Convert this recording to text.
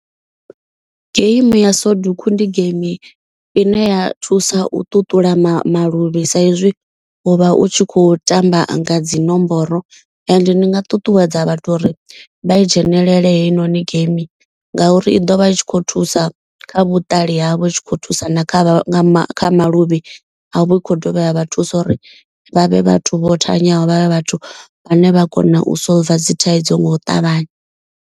Geimi ya soduku ndi geimi ine ya thusa u ṱuṱula maluvhi sa izwi u vha u tshi kho tamba nga dzi nomboro. Ende ndi nga ṱuṱuwedza vhathu uri vha i dzhenelele heyi noni geimi. Ngauri i ḓo vha i tshi khou thusa kha vhuṱali havho u tshi khou thusa na kha maluvhi avho. I khou dovha ya vha thusa uri vhavhe vhathu vho thanyaho vhavhe vhathu vhane vha kona u solver dzi thaidzo nga u ṱavhanya.